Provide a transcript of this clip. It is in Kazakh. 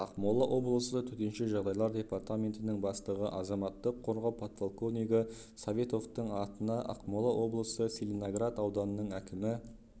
ақмола облысы төтенше жағдайлар департаментінің бастығы азаматтық қорғау подполковнигі советовтың атына ақмола облысы целиноград ауданының әкімі